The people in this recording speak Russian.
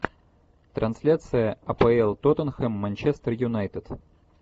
трансляция апл тоттенхэм манчестер юнайтед